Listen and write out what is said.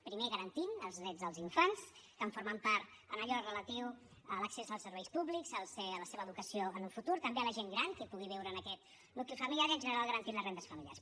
primer garantint els drets dels infants que en formen part en allò relatiu a l’accés als serveis públics a la seva educació en un futur també de la gent gran que pugui viure en aquest nucli familiar i en general garantint les rendes familiars